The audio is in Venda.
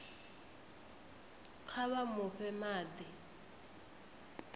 kha vha mu fhe madi